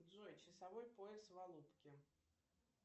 джой часовой пояс в алупке